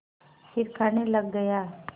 फिर खाने लग गया